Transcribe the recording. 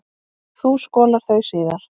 Þú skolar þau síðar.